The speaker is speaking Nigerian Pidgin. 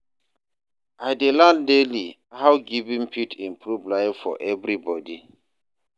I dey learn daily how giving fit improve life for everybody.